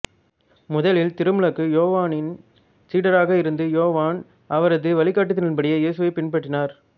முதலில் திருமுழுக்கு யோவானின் சீடராக இருந்த யோவான் அவரது வழிகாட்டுதலின்படி இயேசுவைப் பின்பற்றினார்